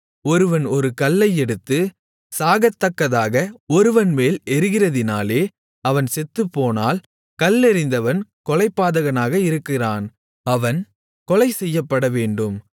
ஒருவன் ஒரு கல்லை எடுத்து சாகத்தக்கதாக ஒருவன்மேல் எறிகிறதினாலே அவன் செத்துப்போனால் கல்லெறிந்தவன் கொலைபாதகனாக இருக்கிறான் அவன் கொலைசெய்யப்படவேண்டும்